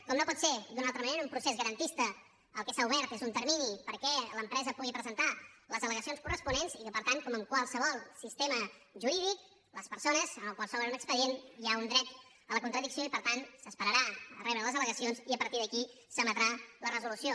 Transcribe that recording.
com no pot ser d’una altra manera en un procés garantista el que s’ha obert és un termini perquè l’empresa pugui presentar les al·legacions corresponents i que per tant com en qualsevol sistema jurídic les persones a les quals s’obre un expedient hi ha un dret a la contradicció i per tant s’esperarà a rebre les al·legacions i a partir d’aquí s’emetrà la resolució